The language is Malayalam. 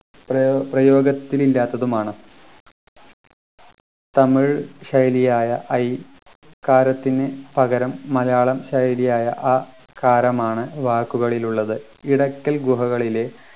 പ്രയോ പ്രയോഗത്തിൽ ഇല്ലാത്തതുമാണ് തമിഴ് ശൈലിയായ ഐ കാരത്തിന് പകരം മലയാളം ശൈലി അ കാരമാണ് വാക്കുകളിൽ ഉള്ളത് ഇടക്കൽ ഗുഹകളിലെ